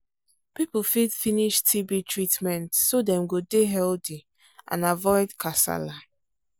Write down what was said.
people fit finish tb treatment so dem go dey healthy and avoid kasala